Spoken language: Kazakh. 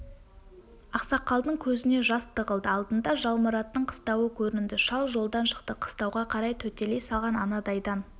ақсақалдың көзіне жас тығылды алдында жалмұраттың қыстауы көрінді шал жолдан шықты қыстауға қарай төтелей салған анадайдан